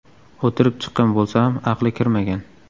O‘tirib chiqqan bo‘lsa ham, aqli kirmagan.